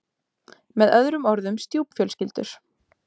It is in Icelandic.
Með öðrum orðum stjúpfjölskyldur.